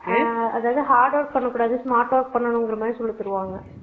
அதாவது hard work பண்ண கூடாது smart work பண்ணனும் அப்புடிங்கற மாதிரி சொல்லுவாங்க